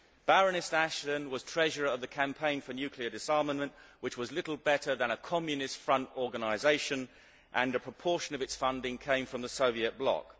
Baroness Ashton was treasurer of the Campaign for Nuclear Disarmament, which was little better than a Communist front organisation, and a proportion of its funding came from the Soviet bloc.